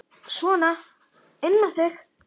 Sona inn með þig!